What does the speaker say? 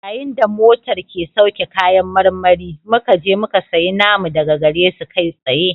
Yayin da motar ke sauke kayan marmari muka je muka sayi namu daga gare su kai tsaye